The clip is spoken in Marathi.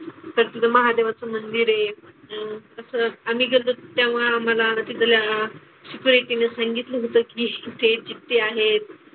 तर तिथे महादेवच मंदिर आहे. तसंच आम्ही गेल्तो त्यामुळं आम्हाला तिथल्या शिपायाने सांगितलं होतं की ते जिते आहेत.